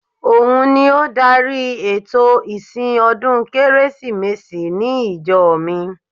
Òun ni ó dárí ètò ìsìn ọdún Kérésìmesì ní ìjọ mi